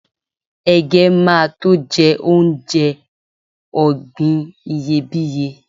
ẹgẹ ma to je onje ògbìn iyebiye